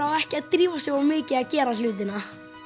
á ekki að drífa sig of mikið að gera hlutina